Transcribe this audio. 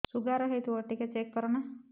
sugar ହେଇଥିବ ଟିକେ check କର ନା